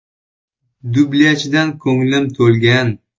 Dublyajdan ko‘nglim to‘lgan.